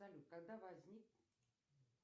салют когда возник